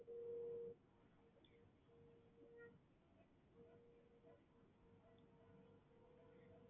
পারেন তাহলে খুব ভালোই হয়, কারণ সাদা কালারটা ভালো কিন্তু আমার মতে ওই কালারটা একটু বেশি ভালো